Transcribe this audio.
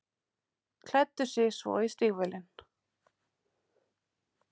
Klæddi sig svo í stígvélin.